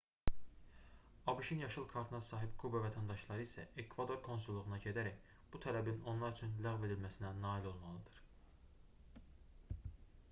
abş-ın yaşıl kartına sahib kuba vətəndaşları isə ekvador konsulluğuna gedərək bu tələbin onlar üçün ləğv edilməsinə nail olmalıdır